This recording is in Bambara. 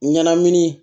Ɲanamini